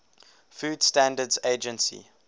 food standards agency